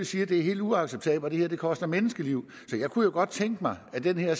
sige at det er helt uacceptabelt og det koster menneskeliv så jeg kunne jo godt have tænkt mig at det her